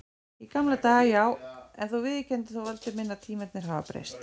Í gamla daga já, en þú viðurkennir þó Valdi minn að tímarnir hafa breyst.